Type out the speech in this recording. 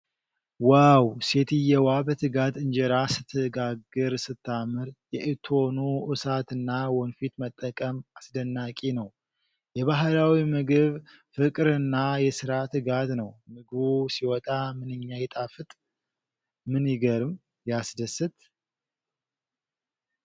ዋው! ሴትየዋ በትጋት እንጀራ ስትጋግር ስታምር። የእቶኑ እሳትና ወንፊት መጠቀም አስደናቂ ነው። የባህላዊ ምግብ ፍቅርና የሥራ ትጋት ነው። ምግቡ ሲወጣ ምንኛ ይጣፍጥ! ምን ይገርም?! ያስደስት!